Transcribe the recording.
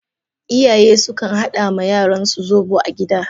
Iyaye sukan hada ma yaransu zobo a gida.